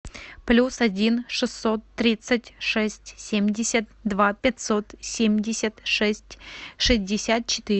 плюс один шестьсот тридцать шесть семьдесят два пятьсот семьдесят шесть шестьдесят четыре